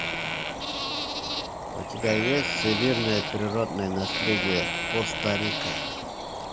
у тебя есть всемирное природное наследие коста рика